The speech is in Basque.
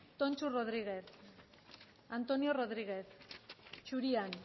tonxu rodriguez antonio rodriguez zurian